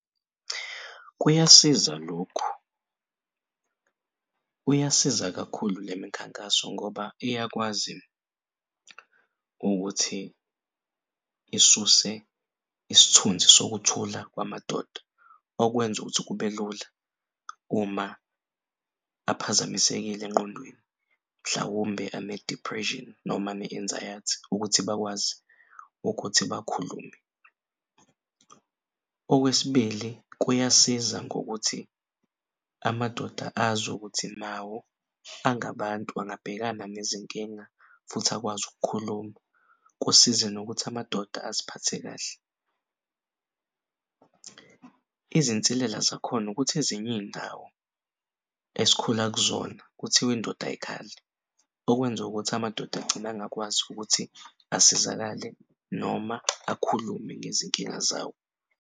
Kuyasiza lokhu. Uyasiza kakhulu lemikhankaso ngoba iyakwazi ukuthi isuse isithunzi sokuthula kwamadoda okwenza ukuthi kube lula uma aphazamisekile engqondweni mhlawumbe ane-depression noma ne-anxiety ukuthi bakwazi ukuthi bakhulume. Okwesibili, kuyasiza ngokuthi amadoda azukuthi nawo angabantu angabhekana nezinkinga futhi akwazi ukukhuluma. Kusize nokuthi amadoda aziphathe kahle. Izinsilela zakhona ukuthi ezinye iy'ndawo esikhula kuzona kuthiw'indoda ayikhali okwenza ukuthi amadoda agcine angakwazi ukuthi asizakale noma akhulume ngezinkinga zawo.